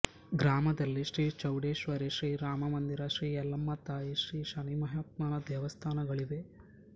ಗ್ರಾಮದಲ್ಲಿ ಶ್ರೀ ಚೌಡೇಶ್ವರಿ ಶ್ರೀರಾಮ ಮಂದಿರ ಶ್ರೀ ಎಲ್ಲಮ್ಮತಾಯಿ ಶ್ರೀ ಶನಿಮಹತ್ಮನ ದೇವಸ್ಥಾನಗಳಿವೆ